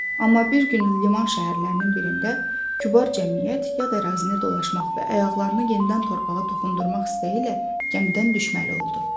Amma bir gün liman şəhərlərinin birində kübar cəmiyyət yad ərazini dolaşmaq və ayaqlarını yenidən torpağa toxundurdurmaq istəyilə gəmidən düşməli oldu.